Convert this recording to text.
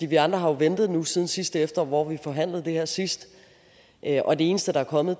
vi andre har ventet nu siden sidste efterår hvor vi forhandlede det her sidst og det eneste der er kommet